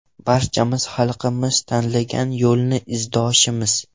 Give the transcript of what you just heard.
Barchamiz xalqimiz tanlagan yo‘lning izdoshimiz.